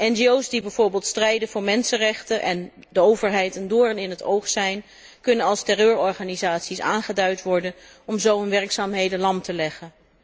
NGO's die bijvoorbeeld strijden voor mensenrechten en de overheid een doorn in het oog zijn, kunnen als terreurorganisaties worden aangeduid om zo hun werkzaamheden lam te leggen.